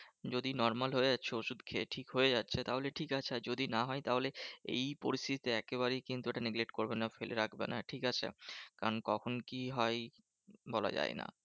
যদি normal হয়ে যাচ্ছে ওষুধ খেয়ে ঠিক হয়ে যাচ্ছে, তাহলে ঠিক আছে। আর যদি না হয়? তাহলে এই পরিস্থিতিতে একেবারেই কিন্তু ওটা neglect করবে না। ফেলে রাখবে না ঠিকাছে? কারণ কখন কি হয়? বলা যায় না।